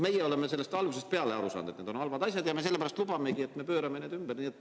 Meie oleme sellest algusest peale aru saanud, et need on halvad asjad, ja sellepärast lubamegi, et me pöörame need ümber.